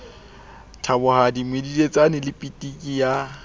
thabohadi medidietsane le pitiki ya